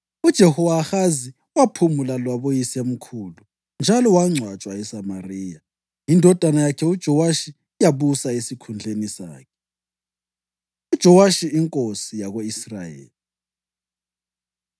UJehowahazi waphumula laboyisemkhulu njalo wangcwatshwa eSamariya. Indodana yakhe uJowashi yabusa esikhundleni sakhe. UJowashi Inkosi Yako-Israyeli